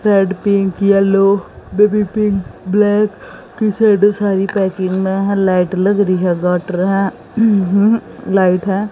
Red pink yellow baby pink black sari packing में light लग रही है काटरा है लाइट है।